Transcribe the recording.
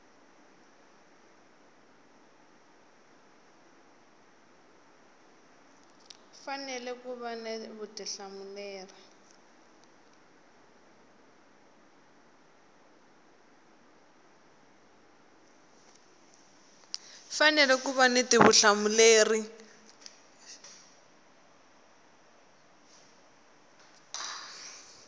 fanele ku va ni vutihlamuleri